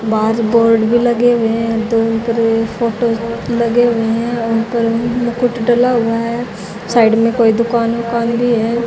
बाहर बोर्ड भी लगे हुए है दोनों तरफ़ ये फोटो लगे हुए है उनपर मुकुट डला हुआ है साइड मे कोई दुकान उकान भी है।